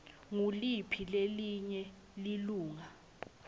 nguliphi lelinye lilunga